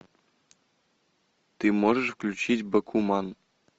ты можешь включить бакуман